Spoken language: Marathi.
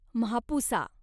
म्हापुसा